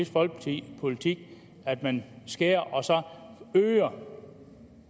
folkeparti politik at man skærer og så øger